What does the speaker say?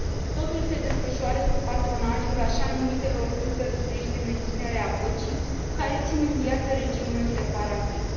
Totul se desfășoară sub patronajul așa numitelor trupe rusești de menținere a păcii, care țin în viață regimul separatist.